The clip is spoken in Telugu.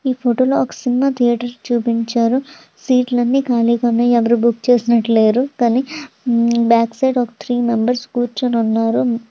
ఈ ఫోటో లో ఒక సినిమా థియేటర్ చూపించారు. సీట్ లన్నీ ఖాళీగా ఉన్నాయి. ఎవరు బుక్ చేసినట్టు లేరు. కానీ బ్యాక్ సైడ్ ఒక త్రీ మెంబర్స్ కూర్చొని ఉన్నారు.